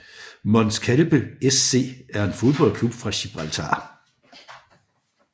Mons Calpe SC er en fodboldklub fra Gibraltar